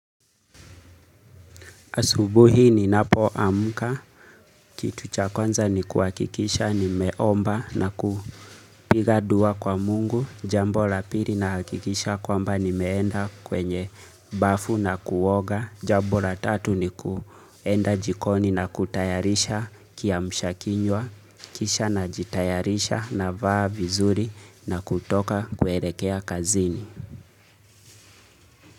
Asubuhi ni napo amuka, kitu chakwanza ni kuakikisha ni meomba na kupiga dua kwa mungu, jambola piri na hakikisha kwamba ni meenda kwenye bafu na kuoga, jambola tatu ni kuenda jikoni na kutayarisha kia mshakinywa, kisha na jitayarisha na vaa vizuri na kutoka kuelekea kazini.